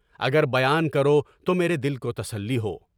اگر بیان کرو تو میرے دل کو تسلی ہو۔